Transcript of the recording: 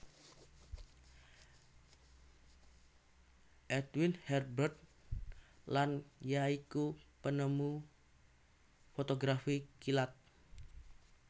Edwin Herbert Land ya iku penemu fotografi kilat